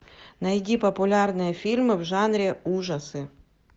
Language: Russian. найди популярные фильмы в жанре ужасы